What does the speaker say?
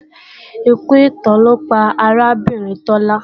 Ikú ipá ló pa arábìnrin Tọ́lá